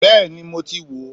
Bẹ́ẹ̀ni mo ti wo